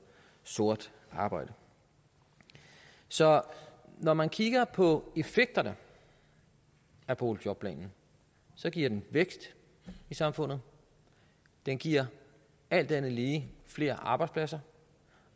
sort arbejde så når man kigger på effekterne af boligjobplanen giver den vækst i samfundet den giver alt andet lige flere arbejdspladser